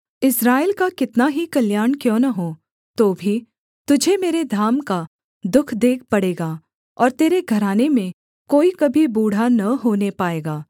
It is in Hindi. इस्राएल का कितना ही कल्याण क्यों न हो तो भी तुझे मेरे धाम का दुःख देख पड़ेगा और तेरे घराने में कोई कभी बूढ़ा न होने पाएगा